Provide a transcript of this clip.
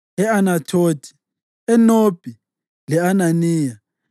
e-Anathothi, eNobhi, le-Ananiya,